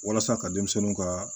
Walasa ka denmisɛnninw ka